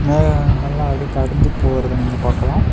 மேகங்கள் எல்லா அடி கடந்து போரத நீங்க பாக்கலாம்.